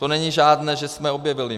To není žádné, že jsme objevili.